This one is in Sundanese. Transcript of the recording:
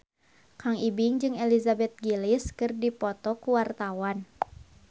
Kang Ibing jeung Elizabeth Gillies keur dipoto ku wartawan